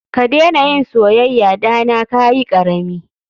Kadena yin soyaya Dana kayikarami.